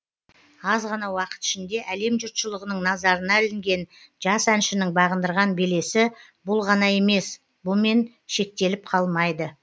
аз ғана уақыт ішінде әлем жұртшылығының назарына ілінген жас әншінің бағындырған белесі бұл ғана емес бұмен шектеліп қалмайды